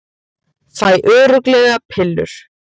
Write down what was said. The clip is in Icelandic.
Fæ örugglega pillur